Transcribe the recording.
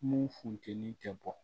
Mun funteni tɛ bɔ